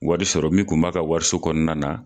Wari sɔrɔ min tun b'a ka wariso kɔnɔna na.